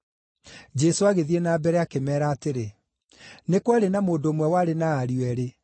Jesũ agĩthiĩ na mbere akĩmeera atĩrĩ, “Nĩ kwarĩ na mũndũ ũmwe warĩ na ariũ eerĩ.